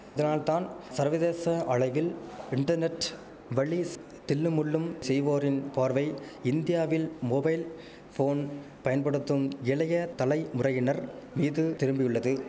இதனால்தான் சர்வதேச அளவில் இன்டர்நெட் வலீஸ் தில்லுமுல்லும் செய்வோரின் பார்வை இந்தியாவில் மொபைல் போன் பயன்படுத்தும் இளைய தலை முறையினர் மீது திரும்பியுள்ளது